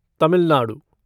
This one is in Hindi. तमिल नाडु